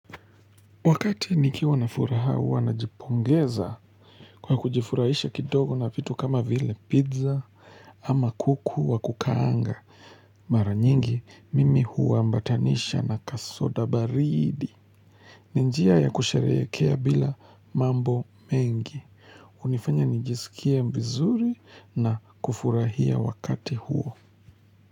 Wakati nikiwa na furaha huwa najipongeza kwa kujifurahisha kidogo na vitu kama vile pizza ama kuku wa kukaanga. Mara nyingi mimi huambatanisha na kasoda baridi. Ni njia ya kusherekea bila mambo mengi. Hunifanya nijiskie vizuri na kufurahia wakati huo.